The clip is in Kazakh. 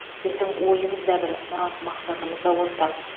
біздің ойымыз да бір мұрат мақсатымыз да ортақ